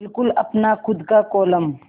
बिल्कुल अपना खु़द का कोलम